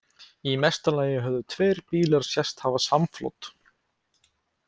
Í mesta lagi höfðu tveir bílar sést hafa samflot.